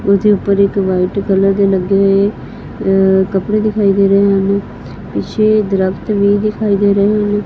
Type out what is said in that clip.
ਉਹਦੇ ਉੱਪਰ ਇੱਕ ਵਾਈਟ ਕਲਰ ਦੇ ਲੱਗੇ ਹੋਏ ਅ ਕੱਪੜੇ ਦਿਖਾਈ ਦੇ ਰਹੇ ਹਨ ਪਿੱਛੇ ਦਰੱਖਤ ਵੀ ਦਿਖਾਈ ਦੇ ਰਹੇ ਹ--